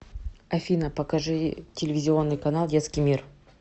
афина покажи телевизионный канал детский мир